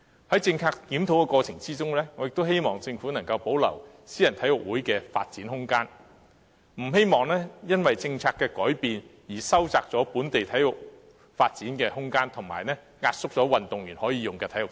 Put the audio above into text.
在政策檢討的過程中，我亦希望政府能夠保留私人體育會的發展空間，不希望因為政策改變而收窄本地體育的發展空間，以及壓縮運動員可用的體育設施。